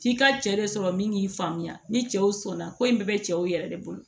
F'i ka cɛ de sɔrɔ min k'i faamuya ni cɛw sɔnna ko in bɛɛ bɛ cɛw yɛrɛ de bolo